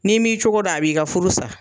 Ni' m'i cogo don, a b'i ka furu sa.